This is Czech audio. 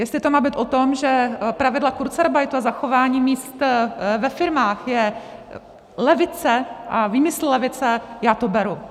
Jestli to má být o tom, že pravidla kurzarbeitu a zachování míst ve firmách je levice a výmysl levice, já to beru.